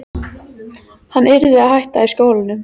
Hann yrði að hætta í skólanum!